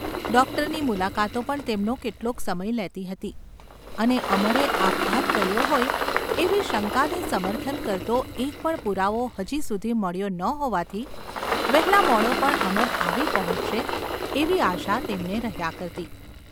ડોક્ટરની મુલાકાતો પણ તેમનો કેટલોક સમય લેતી હતી અને અમરે આપઘાત કર્યો હોય એવી શંકાને સમર્થન કરતો એક પણ પુરાવો હજી સુધી મળ્યો ન હોવાથી વહેલામોડો પણ અમર આવી પહોંચશે એવી આશા તેમને રહ્યા કરતી.